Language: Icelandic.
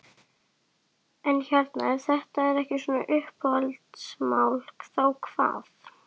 En hérna ef þetta er ekki svona uppeldismál, þá hvað?